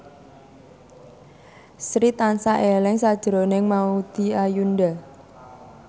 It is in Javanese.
Sri tansah eling sakjroning Maudy Ayunda